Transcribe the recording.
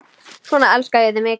Svona elska ég þig mikið.